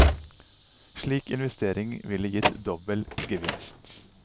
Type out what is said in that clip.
Slik investering ville gitt dobbel gevinst.